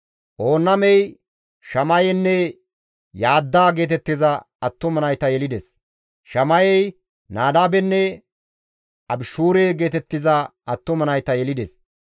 Oonnamey Shamayenne Yaadda geetettiza attuma nayta yelides; Shamayey Nadaabenne Abishuure geetettiza attuma nayta yelides.